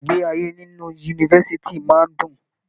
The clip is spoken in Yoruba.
Ìgbé ayé nínú yunifásítì máa n dùn.